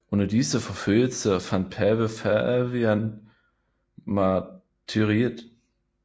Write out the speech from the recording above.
Under disse forfølgelser fandt pave Fabian martyriet